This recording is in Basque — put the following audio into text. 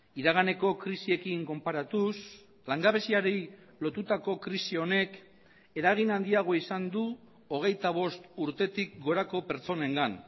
iraganeko krisiekin konparatuz langabeziari lotutako krisi honek eragin handiago izan du hogeita bost urtetik gorako pertsonengan